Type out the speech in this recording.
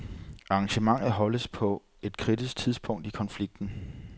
Arrangementet holdes på et kritisk tidspunkt i konflikten.